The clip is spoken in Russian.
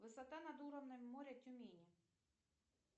высота над уровнем моря тюмени